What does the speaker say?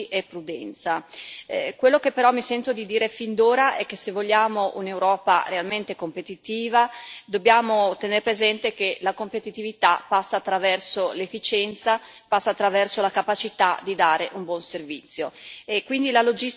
Quello che però mi sento di dire fin d'ora è che, se vogliamo un'Europa realmente competitiva, dobbiamo tener presente che la competitività passa attraverso l'efficienza, passa attraverso la capacità di dare un buon servizio e quindi la logistica ne è il punto cardine.